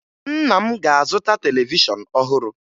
Nna m ga-azụta televishọn ọhụrụ